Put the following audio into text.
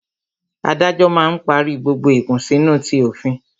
Adájọ́ máa ń parí gbogbo ìkùnsínú ti òfin